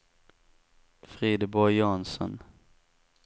Frideborg Jansson